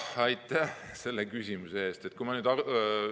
Aitäh selle küsimuse eest!